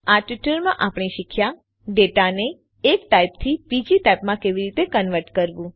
આ ટ્યુટોરીયલમાં આપણે શીખ્યા ડેટાને એક ટાઇપથી બીજી ટાઇપમાં કેવી રીતે કન્વર્ટ કરવું